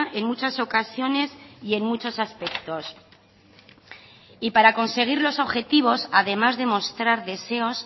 en muchas ocasiones y en muchos aspectos y para conseguir los objetivos además de mostrar deseos